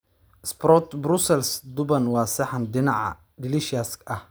sprouts Brussels duban waa saxan dhinaca delicious ah.